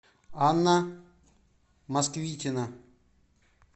анна москвитина